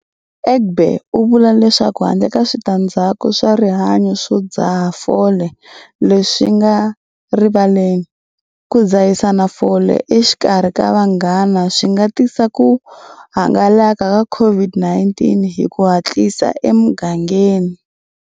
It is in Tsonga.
Egbe u vula leswaku handle ka switandzhaku swa rihanyo swo dzaha fole leswi swi nga rivaleni, ku dzahisana fole exikarhi ka vanghana swi nga tisa ku hangalaka ka COVID-19 hi ku hatlisa emugangeni.